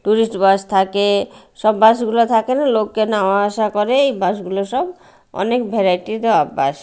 Tourist bus থাকে সব bus -গুলা থাকে না লোককে নাওয়া আসা করে এই বাস -গুলো সব অনেক ভ্যারাইটি -র বাস ।